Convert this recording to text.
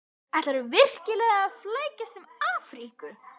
Ætlarðu virkilega að flækjast um Afríku?